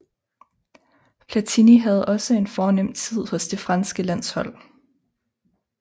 Platini havde også en fornem tid hos det franske landshold